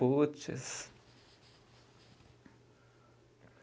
Puts.